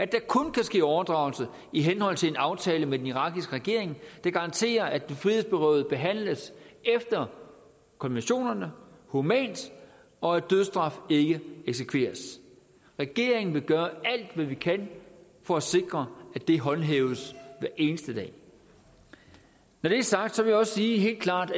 der kun kan ske overdragelse i henhold til en aftale med den irakiske regering der garanterer at den frihedsberøvede behandles efter konventionerne humant og at dødsstraf ikke eksekveres regeringen vil gøre alt hvad vi kan for at sikre at det håndhæves hver eneste dag når det er sagt vil jeg også helt klart